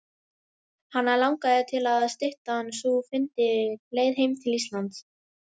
Hana langaði til að styttan sú fyndi leið heim til Íslands.